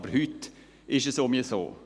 Aber heute ist es nicht mehr so.